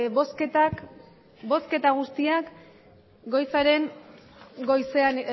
bosketak bosketa guztiak goizaren goizean